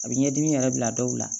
A bɛ ɲɛdimi yɛrɛ bila dɔw la